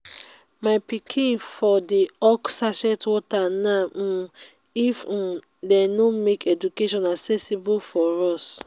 my pikin for dey hawk sachet water now um if um dey no make education accessible for us